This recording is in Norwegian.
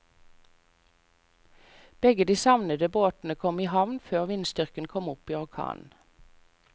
Begge de savnede båtene kom i havn før vindstyrken kom opp i orkan.